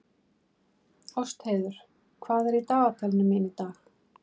Ástheiður, hvað er í dagatalinu mínu í dag?